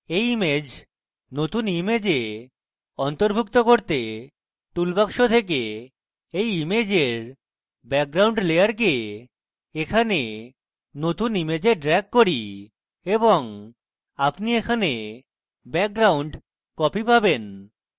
এই image নতুন image অন্তর্ভুক্ত করতে toolbox থেকে এই ইমেজের background layer এখানে নতুন image drag করি এবং আপনি এখানে background copy পাবেন